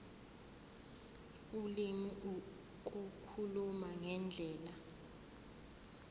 ulimi ukukhuluma ngendlela